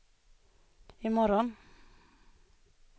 imorgon